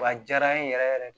Wa a jaara n ye yɛrɛ yɛrɛ de